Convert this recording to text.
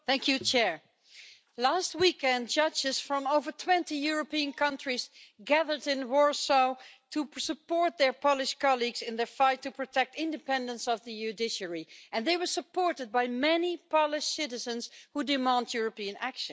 Mr President, last weekend judges from over 20 European countries gathered in Warsaw to support their Polish colleagues in their fight to protect the independence of the judiciary, and they were supported by many Polish citizens who demand European action.